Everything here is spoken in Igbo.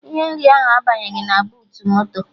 Ihe nri ahụ abanyeghị na buutu moto